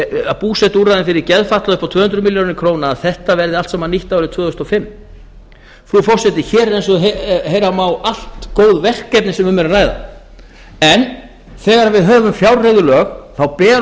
fimm búsetuúrræði fyrir geðfatlaða upp á tvö hundruð milljóna króna verður þetta allt saman nýtt árið tvö þúsund og fimm hér er eins og heyra má allt góð verkefni sem um er að ræða en þegar við höfum fjárreiðulög ber